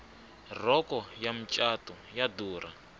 rhoko ya macatu yo durha